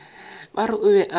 ba re o be a